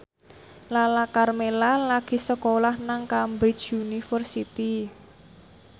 Lala Karmela lagi sekolah nang Cambridge University